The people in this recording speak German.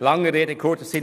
Lange Rede kurzer Sinn: